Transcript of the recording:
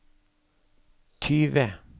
tyve